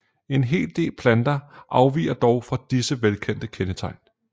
En hel del planter afviger dog fra disse velkendte kendetegn